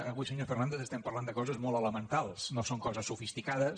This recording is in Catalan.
avui senyor fernàndez estem parlant de coses molt elementals no són coses sofisticades